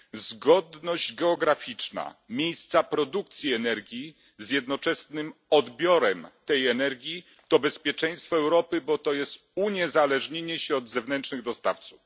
Zgodność geograficzna miejsca produkcji energii z jednoczesnym odbiorem tej energii to bezpieczeństwo Europy, bo oznacza uniezależnienie się od zewnętrznych dostawców.